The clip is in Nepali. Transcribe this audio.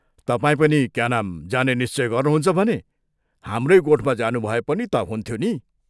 तपाईं पनि क्या नाम जाने निश्चय गर्नुहुन्छ भने हाम्रै गोठमा जानुभए पनि ता हुन्थ्यो नि।